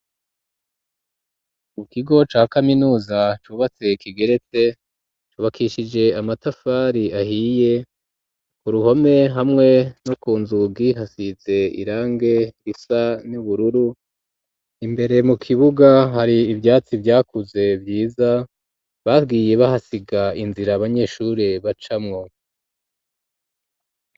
Mu kigo ca kaminuza cubatse kigerete, cubakishije amatafari ahiye, ku ruhome hamwe no ku nzugi hasize irangi risa n'ubururu, imbere mu kibuga hari ivyatsi vyakuze vyiza bagiye bahasiga inzira abanyeshuri bacamwo.